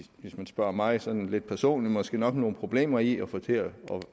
man spørger mig sådan lidt personligt måske nok nogle problemer i at få til